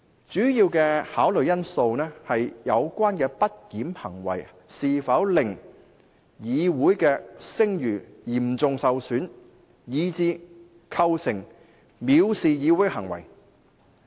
"主要的考慮因素是有關的不檢行為是否令議院的聲譽嚴重受損，以致構成藐視行為。